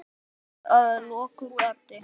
Búið sé að loka gatinu.